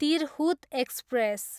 Tirhut express